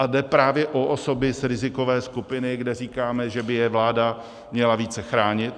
A jde právě o osoby z rizikové skupiny, kde říkáme, že by je vláda měla více chránit.